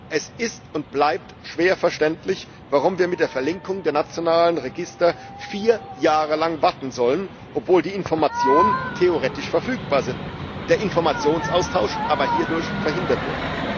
Es ist und bleibt schwer verständlich, warum wir mit der Verlinkung der nationalen Register vier Jahre lang warten sollen, obwohl die Informationen theoretisch verfügbar sind, der Informationsaustausch aber hierdurch verhindert wird.